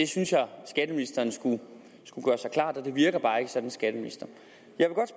synes jeg skatteministeren skulle skulle gøre sig klart det virker bare ikke sådan på skatteministeren